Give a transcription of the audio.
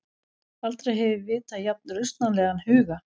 Aldrei hef ég vitað jafn rausnarlegan huga.